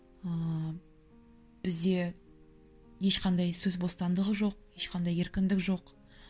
ыыы бізде ешқандай сөз бостандығы жоқ ешқандай еркіндік жоқ